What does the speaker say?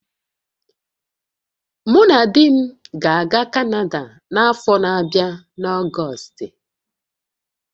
Mụ na di m ga-aga Kanada n'afọ na-abịa n'Ọgọstị